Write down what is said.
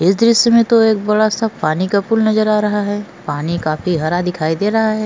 ई दृश्य में तो बड़ा सा पानी का पोल्ल नज़र आ रहा है पानी काफी हरा दिखायी दे रहा है।